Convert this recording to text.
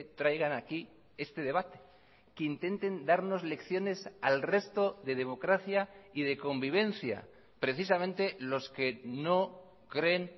traigan aquí este debate que intenten darnos lecciones al resto de democracia y de convivencia precisamente los que no creen